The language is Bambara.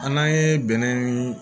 An'an ye bɛnɛ ni